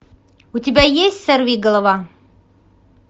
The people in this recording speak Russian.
у тебя есть сорвиголова